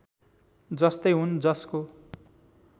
जस्तै हुन् जसको